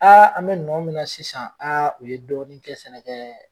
an mi nɔn min na sisan u ye dɔɔnin kɛ sɛnɛ kɛ